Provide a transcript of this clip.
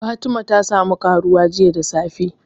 Fatima ta sa mu ƙaruwa jiya da safe